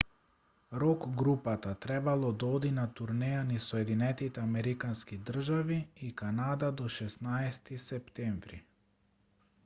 рок групата требало да оди на турнеја низ соединетите американски држави и канада до 16-ти септември